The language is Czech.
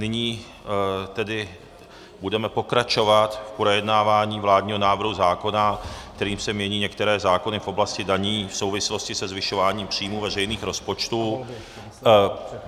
Nyní tedy budeme pokračovat v projednávání vládního návrhu zákona, kterým se mění některé zákony v oblasti daní v souvislosti se zvyšováním příjmů veřejných rozpočtů.